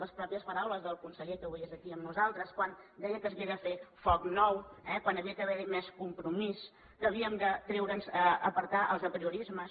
les mateixes paraules del conseller que avui és aquí amb nosaltres quan deia que s’havia de fer foc nou que havia d’haver hi més compromís que havíem d’apartar els apriorismes